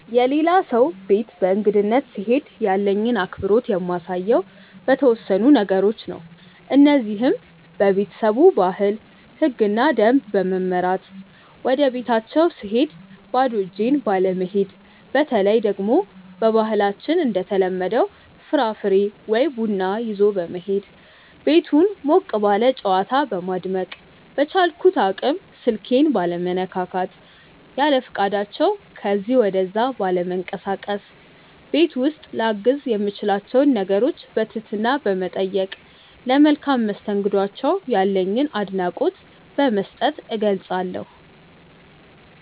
የሌላ ሰው ቤት በእንግድነት ስሄድ ያለኝን አክብሮት የማሳየው በተወሰኑ ነገሮች ነው። እነዚህም:- በቤተሰቡ ባህል፣ ህግና ደንብ በመመራት፣ ወደቤታቸው ስሄድ ባዶ እጄን ባለመሄድ፣ በተለይ ደግሞ በባህላችን እንደተለመደው ፍራፍሬ ወይ ቡና ይዞ በመሄድ፣ ቤቱን ሞቅ ባለ ጨዋታ በማድመቅ፣ በቻልኩት አቅም ስልኬን ባለመነካካት፣ ያለፈቃዳቸው ከዚ ወደዛ ባለመንቀሳቀስ፣ ቤት ውስጥ ላግዝ የምችላቸውን ነገሮች በትህትና በመጠየቅ፣ ለመልካም መስተንግዷቸው ያለኝን አድናቆት በመስጠት እገልፀዋለሁ።